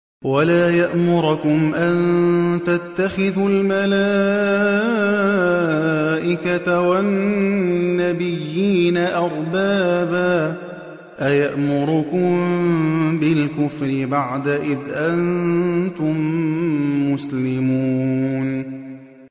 وَلَا يَأْمُرَكُمْ أَن تَتَّخِذُوا الْمَلَائِكَةَ وَالنَّبِيِّينَ أَرْبَابًا ۗ أَيَأْمُرُكُم بِالْكُفْرِ بَعْدَ إِذْ أَنتُم مُّسْلِمُونَ